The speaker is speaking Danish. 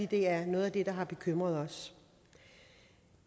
det er noget der har bekymret os